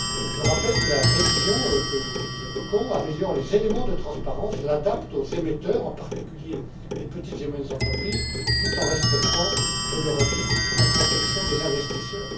Je rappelle que la révision que nous évoquons améliore les éléments de transparence, l'adapte aux émetteurs, en particulier les petites et moyennes entreprises tout en respectant je le redis la protection des investisseurs.